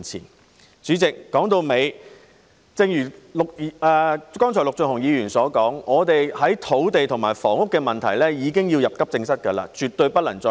代理主席，說到底，正如剛才陸頌雄議員所說，香港的土地及房屋問題已是急症，絕對不能再拖延。